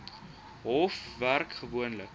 hof werk gewoonlik